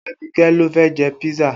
Abike ló fẹ́ jẹ písà